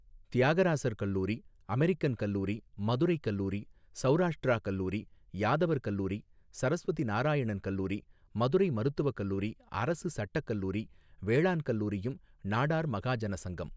தியாகராசர் கலைக்கல்லூரி அமெரிக்கன் கல்லூரி மதுரைக்கல்லூரி சௌராஷ்ட்ரா கல்லூரி யாதவர் கல்லூரி சரஸ்வதி நாராயணன் கல்லூரி மதுரை மருத்துவக்கல்லூரி அரசு சட்டக்கல்லூரி வேளாண் கல்லூரியும் நாடார் மகாஜன சங்கம்.